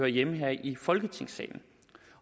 hjemme her i folketingssalen